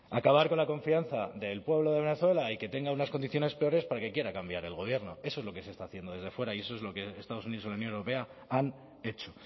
acabar con la confianza del pueblo de venezuela y que tengan unas condiciones peores para que quiera cambiar el gobierno eso es lo que se está haciendo desde fuera y eso es lo que estados unidos y la unión europea han hecho